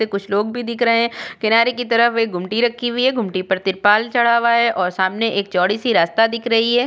ये कुछ लोग भी दिख रहे हैं किनारे की तरफ एक गुमटी रक्खी हुई है गुमटी पर तिरपाल चड़ा हुआ है और सामने एक चौड़ी सी रास्ता दिख रही है।